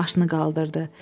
Başını qaldırdı.